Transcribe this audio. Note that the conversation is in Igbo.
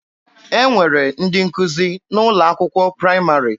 E nwere ndị nkụzi n'ụlọ akwụkwọ praịmarị.